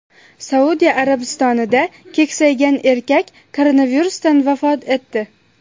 Saudiya Arabistonida keksaygan erkak koronavirusidan vafot etdi.